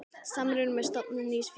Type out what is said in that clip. Samruni með stofnun nýs félags.